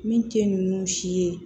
Min tɛ ninnu si ye